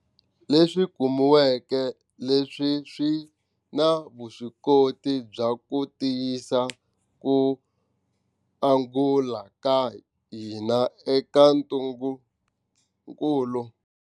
Leswi kumiweke leswi swi na vuswikoti bya ku tiyisisa ku angula ka hina eka ntungukulu.